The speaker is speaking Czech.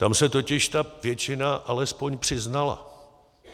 Tam se totiž ta většina alespoň přiznala.